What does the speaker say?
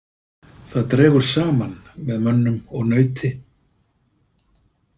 Það dregur saman með mönnum og nauti.